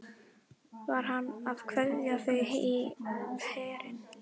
Var hann að kveðja þau í herinn?